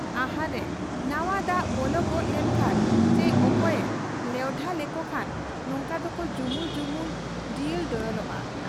ᱟᱦᱟᱨ ᱨᱮ ᱱᱟᱶᱟ ᱫᱟᱜ ᱵᱚᱞᱚ ᱜᱚᱫ ᱞᱮᱱ ᱠᱷᱟᱱ ᱪᱤ ᱚᱠᱚᱭᱮ ᱞᱮᱣᱰᱷᱟ ᱞᱮᱠᱚ ᱠᱷᱟᱱ ᱱᱚᱝᱠᱟ ᱫᱚᱠᱚ ᱡᱩᱢᱩᱞ ᱡᱩᱢᱩᱞ, ᱰᱤᱭᱚᱞ ᱰᱚᱭᱚᱞᱚᱜ ᱟ ᱾